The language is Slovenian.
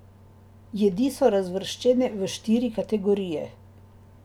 Jedi so razvrščene v štiri kategorije.